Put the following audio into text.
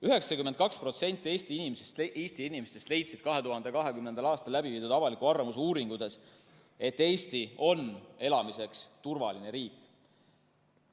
92% Eesti inimestest leidis 2020. aastal läbiviidud avaliku arvamuse uuringutes, et Eesti on elamiseks turvaline riik.